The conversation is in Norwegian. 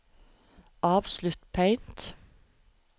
avslutt Paint